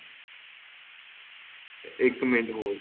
ਇੱਕ minute hold